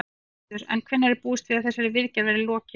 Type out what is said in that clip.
Gissur: En hvenær er búist við að þessari viðgerð verði lokið?